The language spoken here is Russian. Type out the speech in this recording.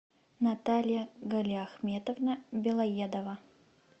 наталья галиахметовна белоедова